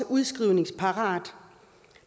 udskrivningsparat